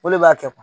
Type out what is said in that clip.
O de b'a kɛ